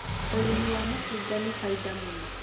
ũrĩmi wa macungwa nĩ baida mũno